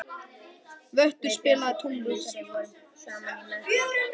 Vöttur, spilaðu tónlist.